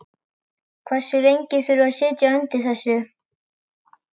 Hversu lengi þurfum við að sitja undir þessu?